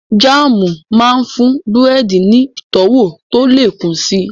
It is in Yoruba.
Jáàmù máa ń fún búrẹ́dì ní ìtọ́wọ̀ tó lè kún si